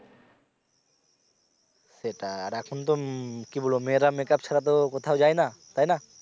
সেটা আর এখন তো উম কি বলব মেয়েরা make up ছাড়া তো কোথাও যায় না, তাইনা?